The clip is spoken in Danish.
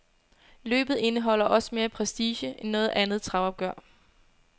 Løbet indeholder også mere prestige end noget andet travopgør.